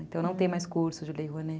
Então não tem mais curso de Lei Rouanet.